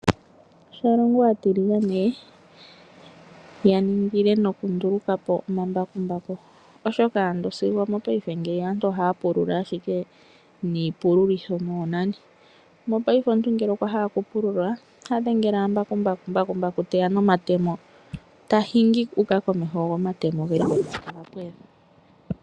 Shalongo aatiligane ya ningile noku nduluka po omambakumbaku oshoka ando sigo omopaife ngiya aantu ohaya pulula ashike niipulitho noonani, mopaife omuntu ngele okwa hala oku pululilwa oha dhengele wala mbakumbaku teya nomatemo tahingi uka komeho go omatemo oge li konima ta pwedha.